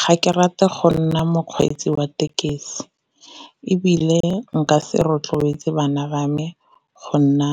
Ga ke rate go nna mokgweetsi wa tekesi, ebile nka se rotloetse bana ba me go nna